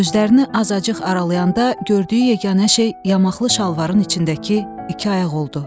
Gözlərini azacıq aralayananda gördüyü yeganə şey yamaqlı şalvarın içindəki iki ayaq oldu.